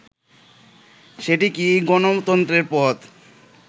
সেটি কি গণতন্ত্রের পথ”